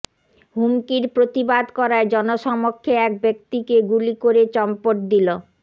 হুমকির প্রতিবাদ করায় জনসমক্ষে এক ব্যাক্তিকে গুলি করে চম্পট দিল